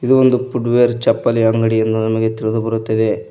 ಇದು ಒಂದು ಫುಡ್ವೇರ್ ಚಪ್ಪಲಿ ಅಂಗಡಿ ಎಂದು ನಮಗೆ ತಿಳಿದು ಬರುತ್ತದೆ.